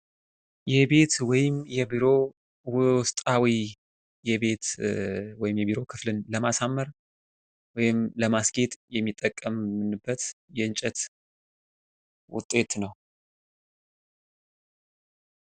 የቤት ወይም የቢሮ ውስጣዊ የቤት ወይም የቢሮ ክፍልን ለማሳመር ወይም ለማስጌጥ የምንጠቀምበት የእንጨት ውጤት ነው።